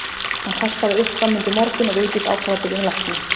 Hann kastaði upp fram undir morgun og Vigdís ákvað að biðja um lækni.